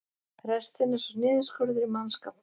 Restin er svo niðurskurður í mannskap